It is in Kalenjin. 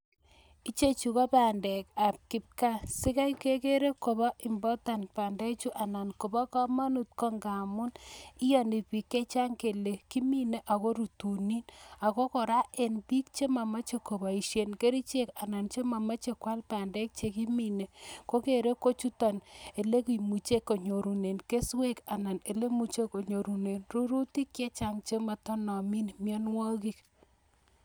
Ichechu ko bandek ab kipgaa. Si kai kegere ko bo important bandechu anan kobo komonut ko ngamun iyoni biik che chang kele kimine ago rutunin. Ago kora en biik che momoche koboishen kerichek anan che momoche koal bandek che kimine kogere ko chuto ele kimuche konyorunen keswek ana ele muche konyorunen rurutik che chang che motonomin mianwogik.